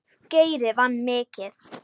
Geiri vann mikið.